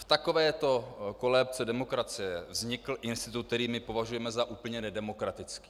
V takovéto kolébce demokracie vznikl institut, který my považujeme za úplně nedemokratický.